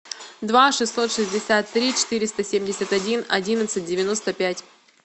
два шестьсот шестьдесят три четыреста семьдесят один одиннадцать девяносто пять